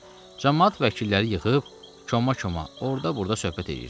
Camaat vəkilləri yığıb, koma-koma orada-burada söhbət eləyirdilər.